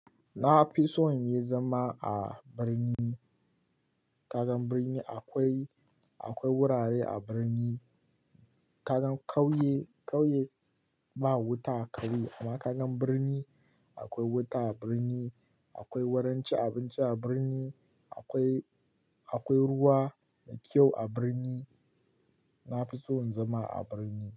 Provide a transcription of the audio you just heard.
Na fi so in yi zama a birni. Ka gan birni akoi, akoi wurare a birni. Ka gan ƙauye, ƙauye ba wuta a ƙauye amma ka gan birni akoi wuta a birni, akwai wurin ci abinci a birni, akoi, akwai ruwa mai kyau a birni. Na fi so in zama a birni.